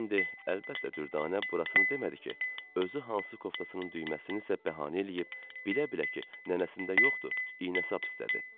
Və indi, əlbəttə, Dürdanə burasını demədi ki, özü hansı koftasının düyməsini isə bəhanə eləyib, bilə-bilə ki, nənəsində yoxdur, iynə-sap istədi.